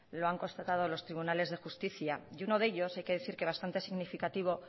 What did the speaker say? lo han constatado los tribunales de justicia y uno de ellos hay que decir que bastante significativo